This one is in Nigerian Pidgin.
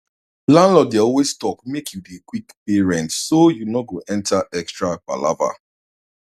landlord dey always talk make you dey quick pay rent so you no go enter extra palava